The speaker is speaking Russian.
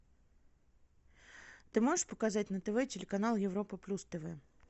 ты можешь показать на тв телеканал европа плюс тв